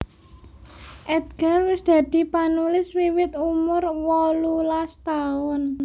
Edgar wis dadi panulis wiwit umur wolulas taun